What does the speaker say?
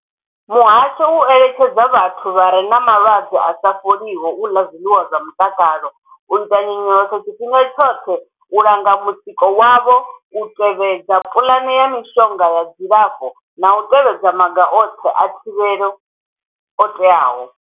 Muhasho u eletshedza vhathu vha re na malwadze a sa fholiho u ḽa zwiḽiwa zwa mutakalo, u ita nyonyoloso tshifhinga tshoṱhe, u langa mutsiko wavho, u tevhedza puḽane ya mishonga ya dzilafho na u tevhedza maga oṱhe a thivhelo o teaho.